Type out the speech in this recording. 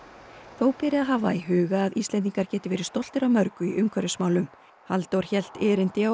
þó beri að hafa í huga að Íslendingar geti verið stoltir af mörgu í umhverfismálum Halldór hélt erindi á